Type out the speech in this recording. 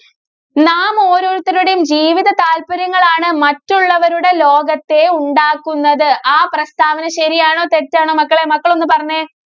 നാം ഓരോരുത്തരുടെയും ജീവിത താല്പര്യങ്ങളാണ് മറ്റുള്ളവരുടെ ലോകത്തെ ഉണ്ടാക്കുന്നത്. ആ പ്രസ്താവന ശരിയാണോ? തെറ്റാണോ? മക്കളേ, മക്കളൊന്നു പറഞ്ഞേ.